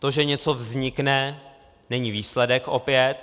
To, že něco vznikne, není výsledek - opět.